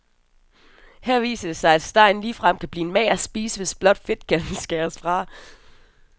Her viser det sig, at stegen ligefrem kan blive en mager spise, hvis blot fedtkanten skæres fra.